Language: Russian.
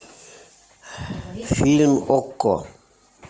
фильм окко